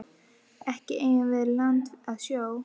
Ekki eigum við land að sjó.